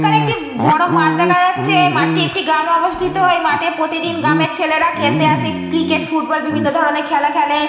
এখানে একটি বড় মাঠ দেখা যাচ্ছে। মাঠটি একটি গ্রামে অবস্থিত। ওই মাঠে প্রতিদিন গ্রামের ছেলেরা খেলতে আসে। ক্রিকেট ফুটবল বিভিন্ন ধরনের খেলা খেলে।